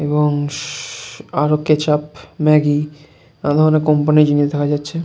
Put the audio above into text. এবং শু আরো কেচাপ ম্যাগি নানাধরনের কোম্পানি -র জিনিস দেখা যাচ্ছে ।